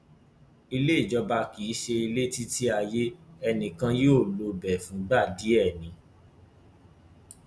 ilé ìjọba kì í ṣe ilétítíayé ẹnì kan yóò lo ibẹ fúngbà díẹ ni